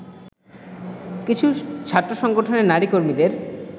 কিছু ছাত্র সংগঠনের নারীকর্মীদের